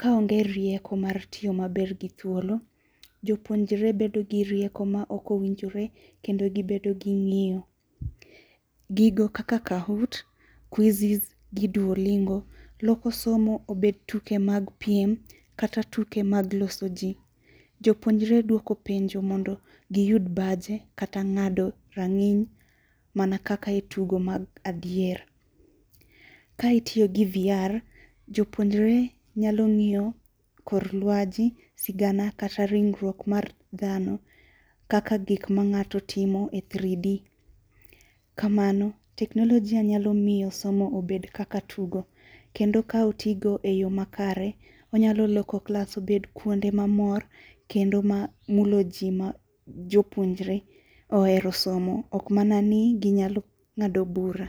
Kaonge rieko mar tiyo maber gi thuolo, jopuonjre bedo gi rieko maok owinjore kendo gibedo gi ng'iyo. Gigo kaka khahoot, kwizis gi duolingo loko somo obet tuke mag piem kata tuke mag loso ji. Jopuonjre duoko penjo mondo giyud baje kata ng'ado rang'iny mana kaka e tugo mag adier. Ka gitiyo gi vr jopuonjre nyalo ng'iyo kor luasi, sigana kata ringruok mar dhano kaka gik mang'ato timo e 3D, kamano teknolojia nyalo miyo somo obed kaka tugo kendo ka otigo eyoo makare, onyalo loko klas obed kuonde mamor kendo ma mulo ji ma jopuonjre ohere somo ok mana ni ginyalo ng'ado bura.